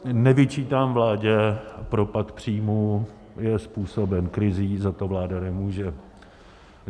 Nevyčítám vládě propad příjmů, je způsoben krizí, za to vláda nemůže.